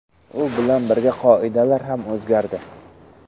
U bilan birga qoidalar ham o‘zgardi.